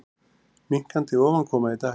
Minnkandi ofankoma í dag